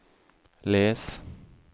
les